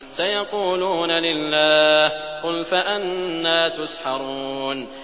سَيَقُولُونَ لِلَّهِ ۚ قُلْ فَأَنَّىٰ تُسْحَرُونَ